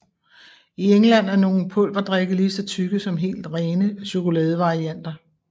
I England er nogle pulverdrikke ligeså tykke som helt rene chokoladevarianter